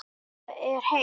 Meðan það er heitt.